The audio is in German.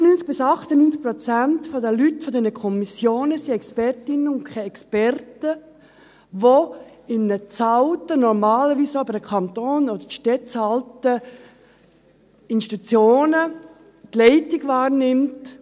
95–98 Prozent der Leute aus diesen Kommissionen sind Expertinnen und Experten, die in bezahlten und normalerweise auch über den Kanton oder die Gemeinden finanzierten Institutionen die Leitung wahrnehmen.